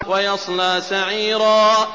وَيَصْلَىٰ سَعِيرًا